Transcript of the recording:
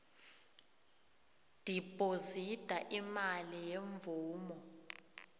dibhozida imali yemvumo